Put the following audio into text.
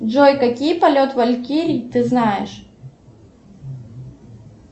джой какие полет валькирий ты знаешь